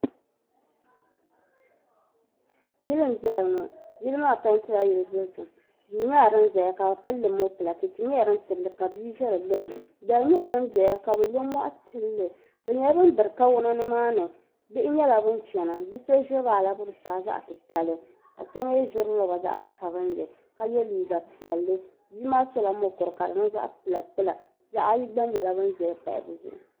yili n-zaya ŋɔ yili maa peenti la yili dozim duu nyɛla din ʒeya ka bɛ pili mɔpila cheche nyɛla din tili ka bia ʒe di gbuni dari nyɛla din doya ka bɛ lɔ mɔɣu tili bɛ nyɛla ban biri kawana ni maa ni bihi nyɛla bɛ chana bi' so ʒiri la alabusaa zaɣ' titali ka so mi ʒiri lɔba zaɣ' sabinli ka ye liiga piɛlli bia maa sɔla mukuru ka di niŋ zaɣ' kpula kpula bih' ayi gba nyɛla bɛ zaya pahi bɛ zuɣu.